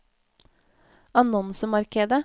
annonsemarkedet